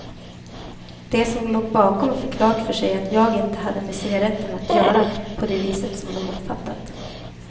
De som låg bakom fick klart för sig att jag inte hade med cigaretterna att göra på det viset som de uppfattat.